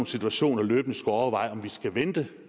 situationer løbende skulle overveje om vi skal vente